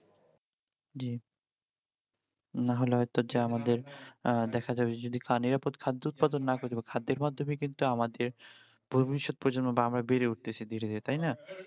জি না হলে হয়তো যে আমাদের আহ দেখা যাবে যদি নিরাপদ খাদ্য উৎপাদন না করি এবার খাদ্যের মাধ্যমে কিন্তু আমাদের বা আমরা বেড়ে উঠতেছি ধীরে ধীরে তাই না?